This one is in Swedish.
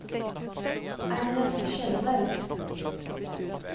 Agnes Kjellberg